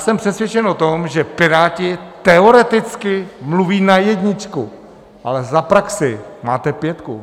Jsem přesvědčen o tom, že Piráti teoreticky mluví na jedničku, ale za praxi máte pětku.